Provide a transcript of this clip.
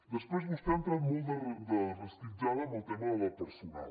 després vostè ha entrat molt de resquitllada en el tema de personal